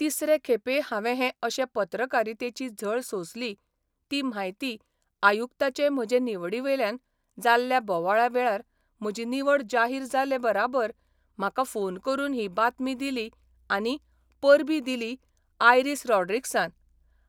तिसरे खेपे हावें हे अशे पत्रकारितेची झळ सोंसली ती म्हायती आयुक्ताचे म्हजे निवडीवेल्यान जाल्ल्या बोवाळावेळार म्हजी निवड जाहीर जाले बराबर म्हाका फोन करून ही बातमी दिली आनी परबीं दिलीं आयरिस रॉड्रिक्सान